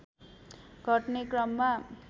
घट्ने क्रममा